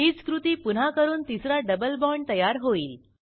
हीच कृती पुन्हा करून तिसरा डबल बाँड तयार होईल